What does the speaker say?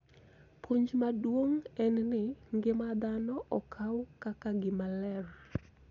Puonj maduong� en ni ngima dhano okaw kaka gima ler .